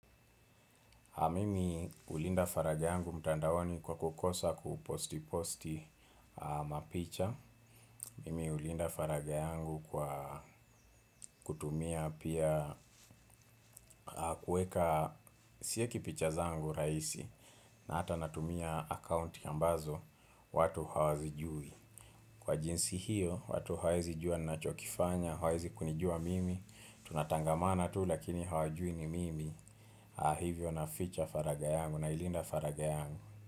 Mimi hulinda faragha yangu mtandaoni kwa kukosa kuposti posti mapicha. Mimi hulinda faragha yangu kwa kutumia pia kueka sieki picha zangu raisi na hata natumia account ambazo watu hawazijui. Kwa jinsi hiyo watu hawaezi jua nachokifanya hawaezi kunijua mimi tunatangamana tu lakini hawajui ni mimi hivyo naficha faragha yangu nailinda faragha yangu.